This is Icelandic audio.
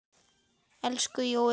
Elsku Jói bróðir.